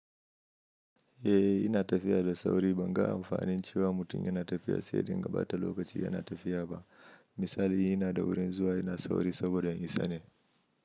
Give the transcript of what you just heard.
Eh yana tafiya da sauri ban ga amfanin cewa mutum yana tafiya sai ya dinga bata lokacin yana tafiya ba. Misali in ina da wurin zuwa ina sauri saboda in isane.